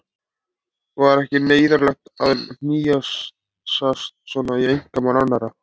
Var ekki neyðarlegt að hnýsast svona í einkamál annarra?